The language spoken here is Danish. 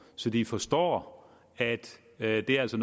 så de forstår at det altså